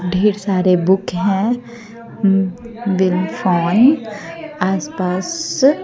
ढेर सारे बुक है आस पास।